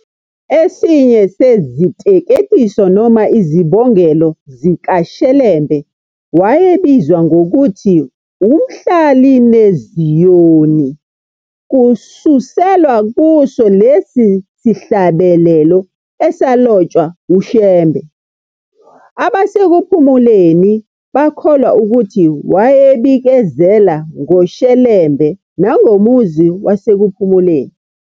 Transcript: Esinye seziteketiso noma izibongelo zikaShelembe wayebizwa ngokuthi "uMhlalineziyoni" kususelwa kuso lesi sihlabelelo esalotshwa uShembe, abaseKuphumuleni bakholwa ukuthi wayebikezela ngoShelembe nangomuzi waseKuphumuleni.